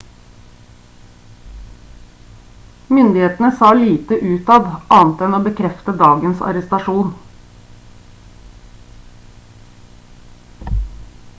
myndighetene sa lite utad annet enn å bekrefte dagens arrestasjon